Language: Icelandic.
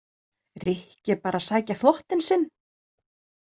Rikki er bara að sækja þvottinn sinn.